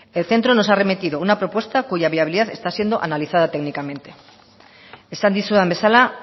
el centro nos ha remitido una propuesta cuya viabilidad está siendo analizada técnicamente esan dizudan bezala